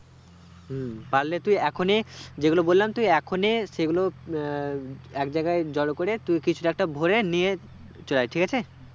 হুম পারলে তুই এখনই যে গুলো বলাম তুই এখনই সে গুলো আহ একজায়গায় জোরকরে তুই কিছুতে একটা ভোরে নিয়ে চলে আই ঠিক আছে